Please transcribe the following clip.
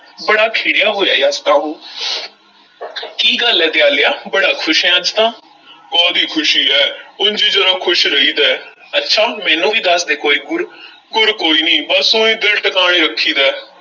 ਬੜਾ ਖਿੜਿਆ ਹੋਇਆ ਹੈ ਅੱਜ ਤਾਂ ਉਹ ਕੀ ਗੱਲ ਐ ਦਿਆਲਿਆ, ਬੜਾ ਖ਼ੁਸ਼ ਐਂ ਅੱਜ ਤਾਂ ਕਾਹਦੀ ਖ਼ੁਸ਼ੀ ਹੈ, ਉਂਜ ਈ ਜ਼ਰਾ ਖ਼ੁਸ਼ ਰਹੀਦਾ ਹੈ, ਅੱਛਾ ਮੈਨੂੰ ਵੀ ਦੱਸ ਦੇ ਕੋਈ ਗੁਰ ਗੁਰ ਕੋਈ ਨਹੀਂ, ਬੱਸ ਊਂਈ ਦਿਲ ਟਕਾਣੇ ਰੱਖੀਦਾ ਹੈ।